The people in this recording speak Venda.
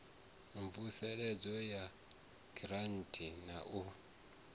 mvuseledzo ya giranthi na u